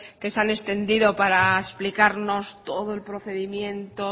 que se han extendido para explicarnos todo el procedimiento